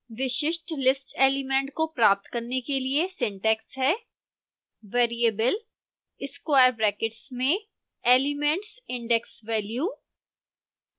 विशिष्ट list element को प्राप्त करने के लिए सिंटैक्स है